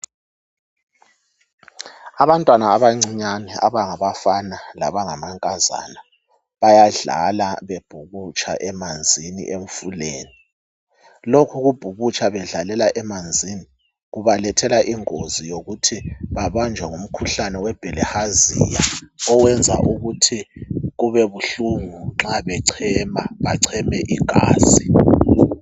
Abantwana abancinyane abangabafana labangamankazana, bayadlala bebhukutsha emanzini emfuleni. Lokhu kubhukutsha bedlalela emanzini. Kubalethela ingozi yokuthi babanjwa ngumkhuhlane webirlhazia. Owenza ukuthi kubebuhlungu nxa bechema. Bacheme igazi.